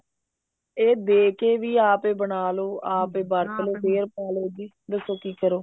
ਇਹ ਦੇਕੇ ਵੀ ਆਪ ਹੀ ਬਣਾਲੋ ਆਪ ਹੀ ਵਰਤ੍ਲੋ ਫ਼ੇਰ ਪਾਲੋ ਜੀ ਦੱਸੋ ਕੀ ਕਰੋ